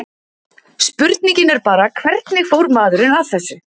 Spurningin er bara, hvernig fór maðurinn að þessu?